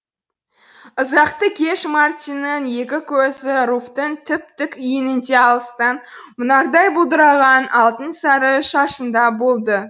ұзақты кеш мартиннің екі көзі руфьтің тіп тік иінінде алыстан мұнардай бұлдыраған алтын сары шашында болды